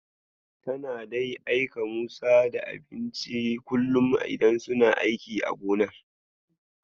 Tana dai aika musu da abincin kullum idan suna aiki a gonar.